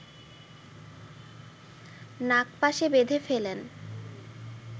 নাগপাশে বেধে ফেলেন